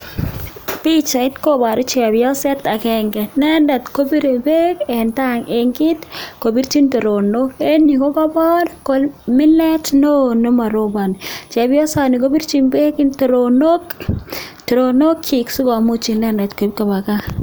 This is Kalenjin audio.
Pichait koboru chebioset akeng'e, inendet koboru beek en kiit koborchin teronok, en yuu kokobor komilet neoo nemorkboni, chebiosani koborchin beek teronok, teronokyik sikomuch inendet koib kobaa kaa.